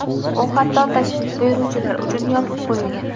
U hatto tashrif buyuruvchilar uchun yopib qo‘yilgan.